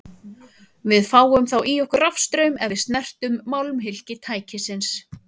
Við fáum þá í okkur rafstraum ef við snertum málmhylki tækisins.